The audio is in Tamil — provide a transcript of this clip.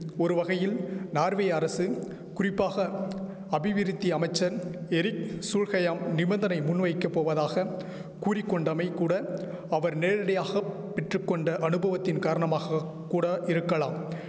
ஒரு வகையில் நார்வே அரசு குறிப்பாக அபிவிருத்தி அமைச்சன் எரிக் சூல்ஹயாம் நிபந்தனை முன்வைக்கப் போவதாக கூறி கொண்டமை கூட அவர் நேரடியாக பெற்று கொண்ட அனுபவத்தின் காரணமாக கூட இருக்கலாம்